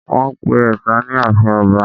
Wọ́n pe ẹ̀sà ní àfin ọba